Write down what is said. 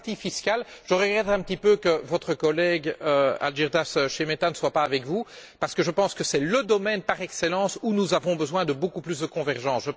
Sur la partie fiscale, je regrette un petit peu que votre collègue, Algirdas Šemeta, ne soit pas avec vous, parce que je pense que c'est le domaine par excellence où nous avons besoin de beaucoup plus de convergence.